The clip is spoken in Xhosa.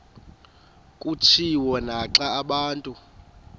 kutshiwo naxa abantu